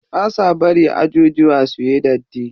Ba sa bari ajujuwa suyi datti.